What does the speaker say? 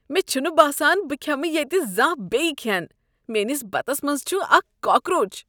مےٚ چھُنہٕ باسان بہٕ كھیمہٕ ییتہِ زانٛہہ یہ كھین، میٲنس بتس منٛز چھُ اكھ کاکروچ۔